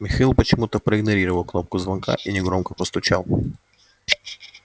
михаил почему-то проигнорировал кнопку звонка и негромко постучал